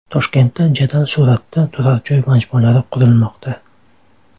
Toshkentda jadal sur’atda turar joy majmualari qurilmoqda.